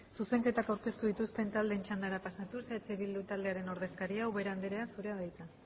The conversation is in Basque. zuzenketa aurkeztu dituzten taldeen txandara pasatuz eh bildu taldearen ordezkaria ubera andrea zurea da hitza